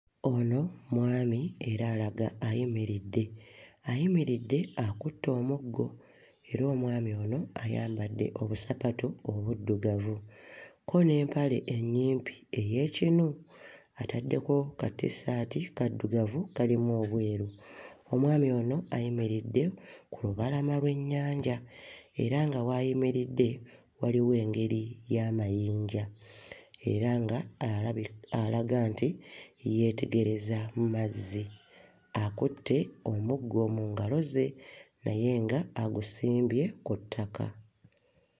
Ono mwami era alaga ayimiridde. Ayimiridde akutte omuggo era omwami ono ayambadde obusapatu obuddugavu kko n'empale ennyimpi ey'ekinu ataddeko kattissaati kaddugavu kalimu obweru. Omwami ono ayimiridde ku lubalama lw'ennyanja era nga w'ayimiridde waliwo engeri y'amayinja era nga alabi alaga nti yeetegereza mazzi akutte omuggo mu ngalo ze naye nga agusimbye ku ttaka.